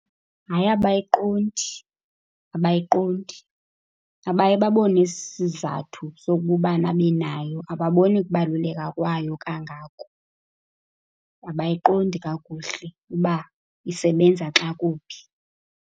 Hayi, abayiqondi. Abayiqondi. Abaye babone isizathu sokuba ubani abenayo. Akaboni kubaluleka kwayo kangako. Abayiqondi kakuhle uba isebenza xa kuphi.